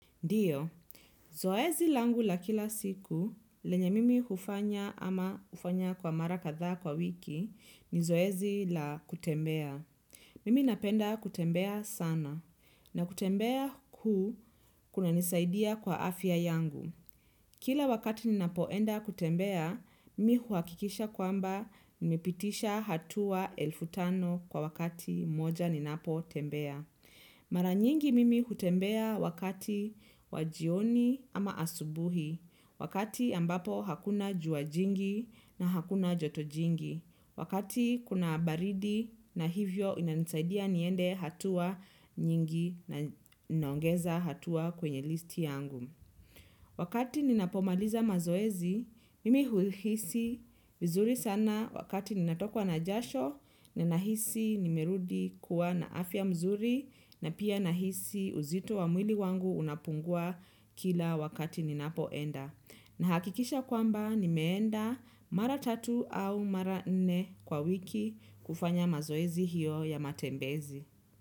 Ndiyo, zoezi langu la kila siku lenye mimi ufanya ama ufanya kwa mara kadhaa kwa wiki ni zoezi la kutembea. Mimi napenda kutembea sana na kutembea huu kuna nisaidia kwa afya yangu. Kila wakati ninapoenda kutembea, mi huakikisha kwamba nimepitisha hatua elfu tano kwa wakati moja ninapo tembea. Mara nyingi mimi hutembea wakati wa jioni ama asubuhi, wakati ambapo hakuna jua jingi na hakuna joto jingi, wakati kuna baridi na hivyo inanisaidia niende hatua nyingi na naongeza hatua kwenye listi yangu. Wakati ninapomaliza mazoezi, mimi huihisi vizuri sana wakati ninatokwa na jasho, ninahisi nimerudi kuwa na afya mzuri na pia nahisi uzito wa mwili wangu unapungua kila wakati ninapoenda. Na hakikisha kwamba nimeenda mara tatu au mara nne kwa wiki kufanya mazoezi hiyo ya matembezi.